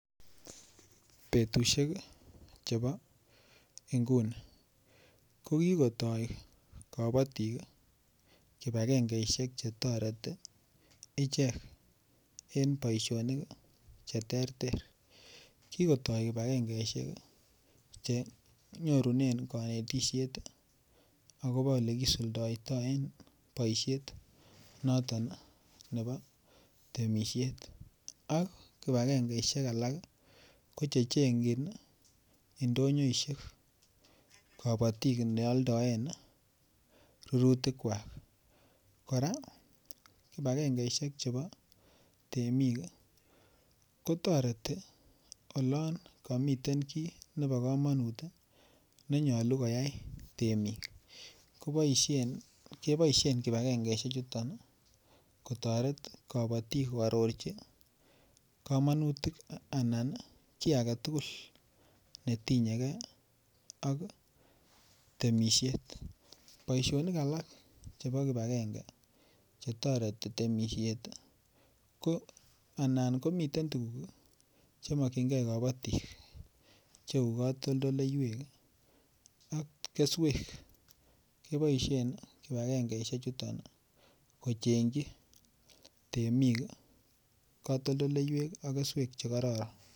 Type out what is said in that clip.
Betusiek Chebo inguni ko kigotoi kabatik kibagengesiek Che toreti ichek en boisionik Che terter kigotoi kibagengesiek Che nyorunen kanetisiet agobo Ole kosuldaetaen boisiet noton nebo temisiet ak kibagengesiek alak koche chengjin ndonyoisiek kabatik ne aldaen rurutikwak kora kibagengesiek chebo temik ko toreti olon komiten ki nebo komonut ne nyolu koyai temik keboisien kibagengesiek chuton kotoret kabatik koarorchi kamanutik anan ki age tugul ne tinye ge ak temisiet boisionik alak chebo kibagenge netoreti temisiet ko anan komiten tuguk Che mokyingei kabatik Cheu katoldoleywek ak keswek keboisien kibagengesiek chuton kochengchiji temik katoldoleywek ak keswek Che kororon